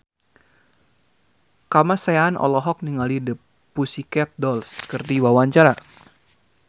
Kamasean olohok ningali The Pussycat Dolls keur diwawancara